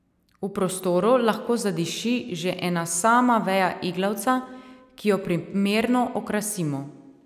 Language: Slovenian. V prostoru lahko zadiši že ena sama veja iglavca, ki jo primerno okrasimo.